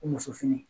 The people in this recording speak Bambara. Ko muso fini